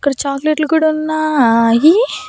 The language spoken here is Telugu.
ఇక్కడ చాక్లెట్లు కూడా ఉన్నాయి.